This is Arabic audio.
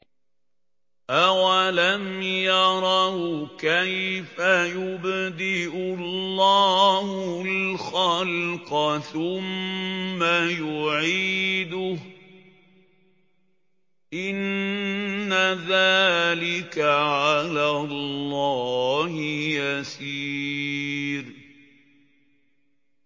أَوَلَمْ يَرَوْا كَيْفَ يُبْدِئُ اللَّهُ الْخَلْقَ ثُمَّ يُعِيدُهُ ۚ إِنَّ ذَٰلِكَ عَلَى اللَّهِ يَسِيرٌ